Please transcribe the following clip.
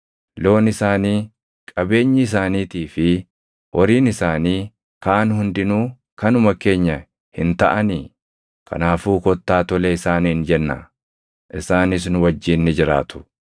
Loon isaanii, qabeenyi isaaniitii fi horiin isaanii kaan hundinuu kanuma keenya hin taʼanii? Kanaafuu kottaa tole isaaniin jennaa; isaanis nu wajjin ni jiraatu.”